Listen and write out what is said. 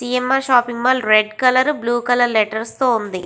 CMR. Shopping mall red colour blue colour letters తో వుంది.